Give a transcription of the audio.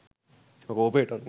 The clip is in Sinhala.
එම කෝපයට අනුව